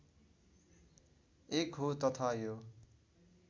एक हो तथा यो